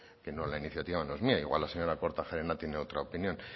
que la iniciativa no es mía igual la señora kortajarena tiene otra opinión